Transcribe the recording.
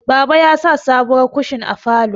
Baba ya sa sabuwar kushin a falo